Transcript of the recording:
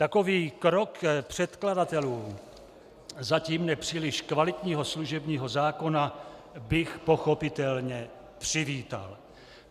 Takový krok předkladatelů zatím nepříliš kvalitního služebního zákona bych pochopitelně přivítal.